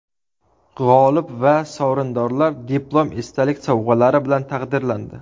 G‘olib va sovrindorlar diplom, esdalik sovg‘alari bilan taqdirlandi.